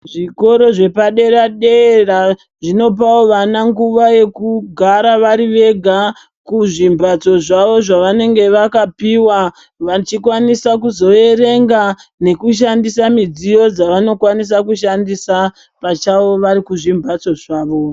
Zvikoro zvepadera-dera zvinopawo vana nguva yekugara vari vega kuzvimbatso zvavo zvavanenge vakapiwa vachikwanisa kuzoerenga nekushandisa midziyo dzavanokwanisa kushandisa pachavo vari kuzvimbatso zvavo.